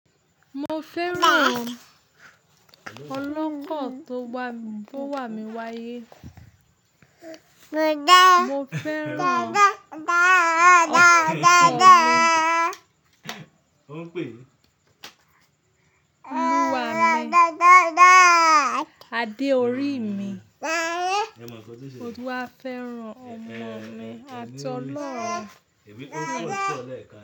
Mo fẹ́ràn ọlọ́kọ̀ tó wà mí wáyé. Mo fẹ́ràn ọ́kọ̀ mi oluwa mi Ade orí mi. Mo tun wá fẹ́ràn ọmọ mi àti olọ́rùn.